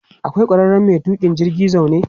Akwai ƙwararren mai tuƙa jirgin zaune.